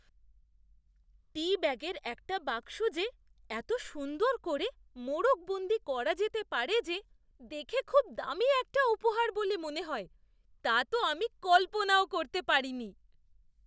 টি ব্যাগের একটা বাক্স যে এত সুন্দর করে মোড়কবন্দী করা যেতে পারে যে দেখে খুব দামি একটা উপহার বলে মনে হয়, তা তো আমি কল্পনাও করতে পারিনি।